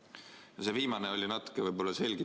No see viimane oli natuke.